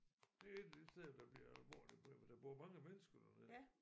Det et af de steder der bliver alvorlige problemer der bor mange mennesker dernede